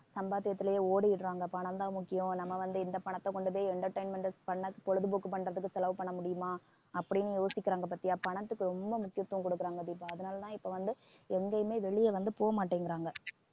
சம்பாத்தியத்திலேயே ஓடிடுறாங்க பணம் தான் முக்கியம் நம்ம வந்து இந்த பணத்தை கொண்டு போய் entertainment பண்ண பொழுதுபோக்கு பண்றதுக்கு செலவு பண்ண முடியுமா அப்படின்னு யோசிக்கிறாங்க பாத்தியா பணத்துக்கு ரொம்ப முக்கியத்துவம் கொடுக்குறாங்க தீபா அதனாலதான் இப்ப வந்து எங்கேயுமே வெளியே வந்து போக மாட்டேங்குறாங்க